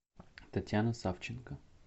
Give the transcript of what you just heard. татьяна савченко